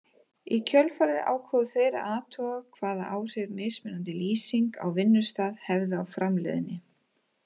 Í kjölfarið ákváðu þeir að athuga hvaða áhrif mismunandi lýsing á vinnustað hefði á framleiðni.